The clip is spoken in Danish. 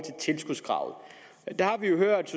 tilskudskravet der har vi hørt